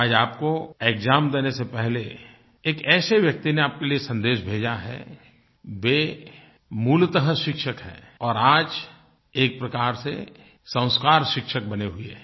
आज आपको एक्साम देने से पहले एक ऐसे व्यक्ति ने आपके लिए सन्देश भेजा है वे मूलतः शिक्षक हैं और आज एक प्रकार से संस्कार शिक्षक बने हुए हैं